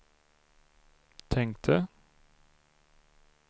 tänkte